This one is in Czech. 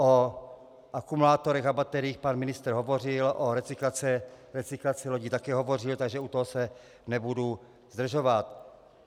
O akumulátorech a bateriích pan ministr hovořil, o recyklaci lodí také hovořil, takže u toho se nebudu zdržovat.